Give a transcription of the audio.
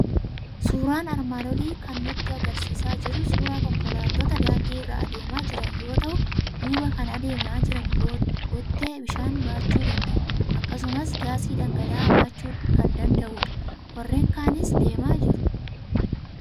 Suuraan armaan olii kan nutti argisiisaa jiru suuraa konkolaattota daandii irra adeemaa jiran yoo ta'u, duuba kan adeemaa jiran Bottee bishaan baachuu danda'u, akkasumas gaasii dhangala'aa baachuu kan danda'udha. warreen kaanis deemaa jiru.